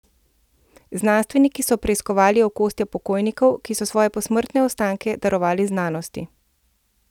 Znanstveniki so preiskovali okostja pokojnikov, ki so svoje posmrtne ostanke darovali znanosti.